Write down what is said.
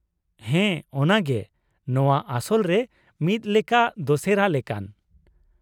ᱦᱮᱸ ᱚᱱᱟᱜᱮ, ᱱᱚᱶᱟ ᱟᱥᱚᱞ ᱨᱮ ᱢᱤᱫ ᱞᱮᱠᱟ ᱫᱚᱥᱮᱨᱟ ᱞᱮᱠᱟᱱ ᱾